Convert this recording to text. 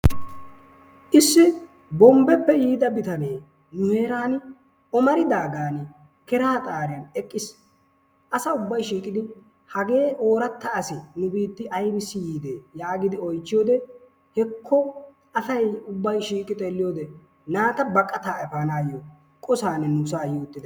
Issi Bombeeppe yiida bitanee nu heeran ommaridagan keraa xaabiyan eqqiis. asa ubbay hage ooratta asi nu biitti aybbissi yiidi yaagidi oychchiyoode hekko naata baqataa efanayyo qossan nu saa yiidi uttidaaga.